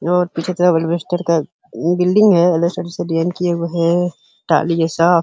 और कुछ अलबेस्टरइन्वेस्टर का बिल्डिंग है।